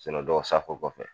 dɔw safo kɔfɛ